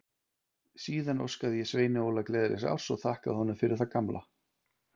Síðan óskaði ég Sveini Óla gleðilegs árs og þakkaði honum fyrir það gamla.